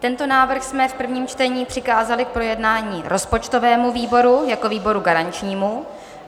Tento návrh jsme v prvním čtení přikázali k projednání rozpočtovému výboru jako výboru garančnímu.